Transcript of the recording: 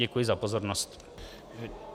Děkuji za pozornost.